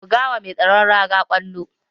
Buga wa mai tsaron raga ƙwallon.